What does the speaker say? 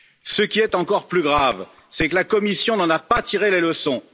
Ce qui est encore plus grave, c'est que la Commission n'en a pas tiré les leçons.